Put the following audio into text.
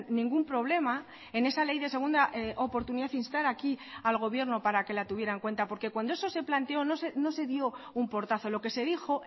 ningún problema en esa ley de segunda oportunidad instar aquí al gobierno para que la tuviera en cuenta porque cuando eso se planteó no se dio un portazo lo que se dijo